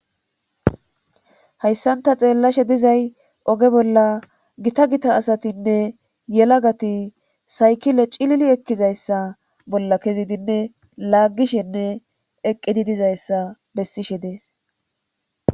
hayssan ta xeellashe dizay oge bolla gita gita asatinne yelagati saykile cilili ekkizayssa bolla kezidinne laaggishenne eqqidi dizayssa bessishe dees